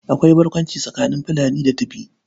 Akwai barkwanci tsakanin Fulani da Tibi.